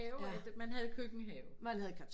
At man havde køkkenhave